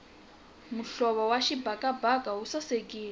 muhlovo wa xibakabaka wu sasekile